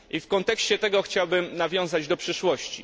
W kontekście tego chciałbym nawiązać do przyszłości.